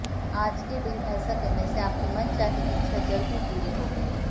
आज के दिन ऐसा करने से आपकी मनचाही इच्छा जल्द ही पूरी होगी